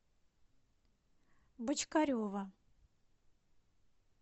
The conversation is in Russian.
бочкарева